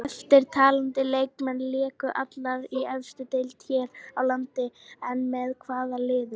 Eftirtaldir leikmenn léku allir í efstu deild hér á landi en með hvaða liðum?